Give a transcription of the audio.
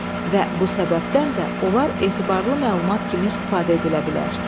Və bu səbəbdən də onlar etibarlı məlumat kimi istifadə edilə bilər.